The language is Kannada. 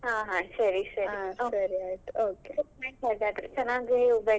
ಸರಿ ಆಯ್ತ್ okay.